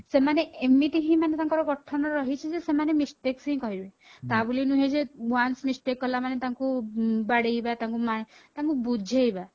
ସେମାନେ ଏମିତି ହିଁ ତାଙ୍କର ଗଠନ ରହିଛି ଯେ ସେମାନେ mistakes ହିଁ କରିବେ ତା ବୋଲି ନୁହ ଯେ once mistake କଳାମାନେ ତାଙ୍କୁ ତାଙ୍କୁ ବାଡେଇବା ତାଙ୍କୁ ମା ତାଙ୍କୁ ବୁଝେଇବା